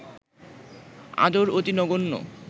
আদর অতি নগণ্য